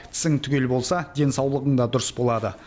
тісің түгел болса денсаулығың да дұрыс болады